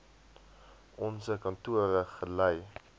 onse kantore gelei